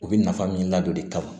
U bɛ nafa min ladon de kama